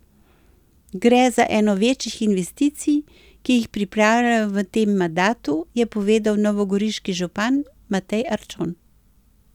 Gre za eno večjih investicij, ki jih pripravljajo v tem mandatu, je povedal novogoriški župan Matej Arčon.